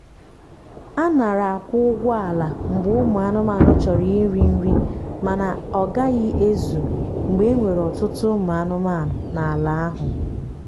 anara akwụ ụgwọ ala mgbe ụmụ anụmanụ chọrọ iri nrimana ọgahi ezu mgbe enwere ọtụtụ ụmụ anụmanụ na na ala ahu